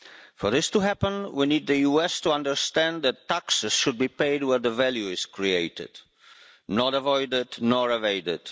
For this to happen, we need the US to understand that taxes should be paid where the value is created, not avoided, nor evaded.